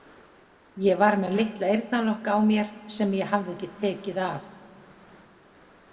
Ég var með litla eyrnalokka á mér sem ég hafði ekki tekið af.